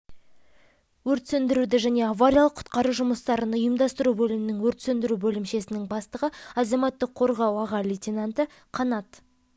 өрт сөндіруді және авариялық-құтқару жұмыстарын ұйымдастыру бөлімінің өрт сөндіру бөлімшесінің бастығы азаматтық қорғау аға лейтенанты қанат